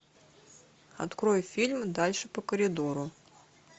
открой фильм дальше по коридору